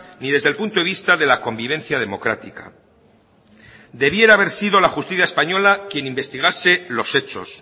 ni desde el punto de vista de la convivencia democrática debiera haber sido la justicia española quien investigase los hechos